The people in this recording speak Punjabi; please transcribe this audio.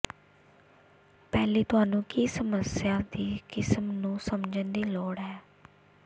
ਪਹਿਲੀ ਤੁਹਾਨੂੰ ਕੀ ਸਮੱਸਿਆ ਦੀ ਕਿਸਮ ਨੂੰ ਸਮਝਣ ਦੀ ਲੋੜ ਹੈ